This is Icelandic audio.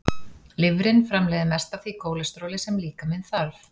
Lifrin framleiðir mest af því kólesteróli sem líkaminn þarf.